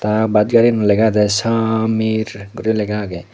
ah bus gari ganot lega agayde sameer guri lega agay.